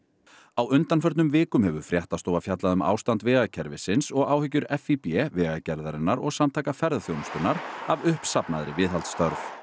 á undanförnum vikum hefur fréttastofa fjallað um ástand vegakerfisins og áhyggjur FÍB Vegagerðarinnar og Samtaka ferðaþjónustunnar af uppsafnaðri viðhaldsþörf